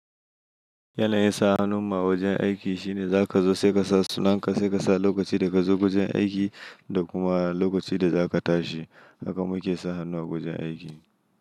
Yanayin sa hannun mu a wajen aiki shine za ka zo sai ka sa sunan ka, sai ka sa lokaci da ka zo wurin aiki da kuma lokacin da za ka tashi. Haka muke sa hannu a wajen aiki.